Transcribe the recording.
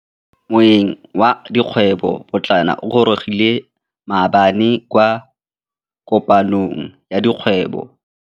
Moêng wa dikgwêbô pôtlana o gorogile maabane kwa kopanong ya dikgwêbô.